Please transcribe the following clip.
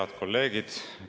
Head kolleegid!